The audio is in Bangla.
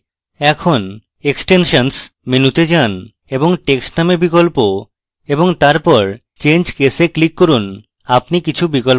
এখন extensions মেনুতে যান এবং text named বিকল্প এবং তারপর change case এ click করুন আপনি কিছু বিকল্প দেখবেন